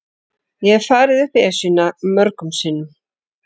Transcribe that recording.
Ég hef farið upp Esjuna mörgum sinnum.